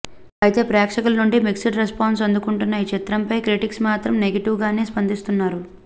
అయితే ప్రేక్షకుల నుండి మిక్స్డ్ రెస్పాన్స్ అందుకుంటున్న ఈ చిత్రంపై క్రిటిక్స్ మాత్రం నెగటివ్ గానే స్పందిస్తున్నారు